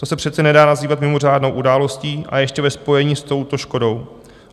To se přece nedá nazývat mimořádnou událostí, a ještě ve spojení s touto škodou.